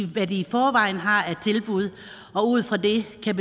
hvad de i forvejen har af tilbud og ud fra det kan